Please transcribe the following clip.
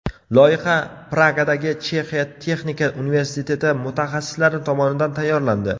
Loyiha Pragadagi Chexiya texnika universiteti mutaxassislari tomonidan tayyorlandi.